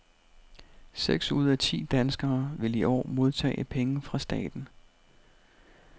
Seks ud af ti danskere vil i år modtage penge fra staten.